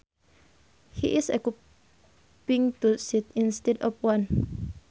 He is occupying two seats instead of one